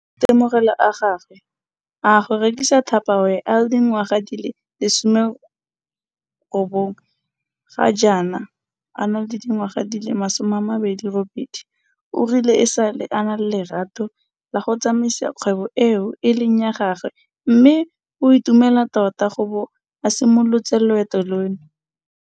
Ka maitemogelo a gagwe a go rekisa Tupperware a le dingwaga di le 19, ga jaana a le dingwaga di le 28 o rile e sale a na le lerato la go tsamaisa kgwebo eo e leng ya gagwe mme o itumela tota go bo a simolotse loeto lono.